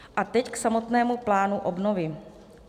A teď k samotnému plánu obnovy.